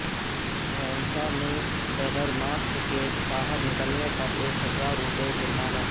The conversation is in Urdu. بھینسہ میں بغیر ماسکس سے باہر نکلنے پر ایک ہزار روپئے جرمانہ